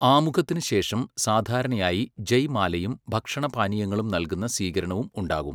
ആമുഖത്തിന് ശേഷം സാധാരണയായി ജയ് മാലയും ഭക്ഷണ പാനീയങ്ങളും നൽകുന്ന സ്വീകരണവും ഉണ്ടാവും .